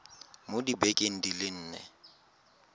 mo dibekeng di le nne